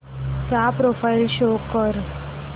चा profile show कर